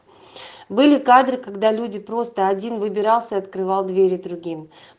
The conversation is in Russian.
были кадры когда люди просто один выбирался открывал двери другим